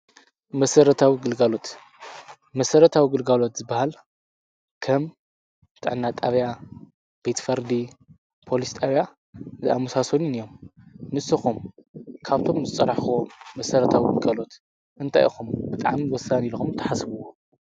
መሰረታዊ ግልጋሎት፡- መሰረታዊ ግልጋሎት ዝበሃል ከም ጥዕና ጣብያ፣ ቤትፈርዲ ፣ፖሊስ ጣብያ ዝኣመሳሰሉን እዮም፡፡ ንስኹም ካብቶም ዝፀራሕኽዎም መሠረታዊ ግልጋሎት እንታይ ኢኹም ብጣዕሚ ወሳኒ ኢለኹም ተሓስብዎ?